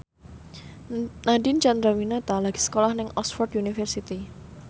Nadine Chandrawinata lagi sekolah nang Oxford university